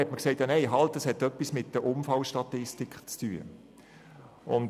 Man sagte auch, das Projekt habe etwas mit der Unfallstatistik zu tun.